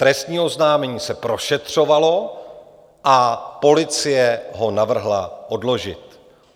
Trestní oznámení se prošetřovalo a policie ho navrhla odložit.